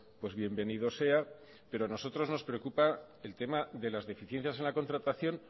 pues bienvenido sea pero a nosotros nos preocupa el tema de las deficiencias en la contratación